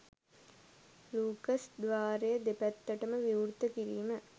Lucas ද්වාරය දෙපැත්තටම විවෘත කිරීම